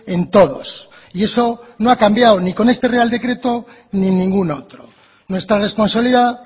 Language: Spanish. en todos y eso no ha cambiado ni con este real decreto ni ningún otro nuestra responsabilidad